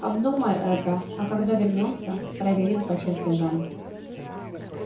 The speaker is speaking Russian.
обдумай это а когда вернёмся проверим по чертежам